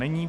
Není.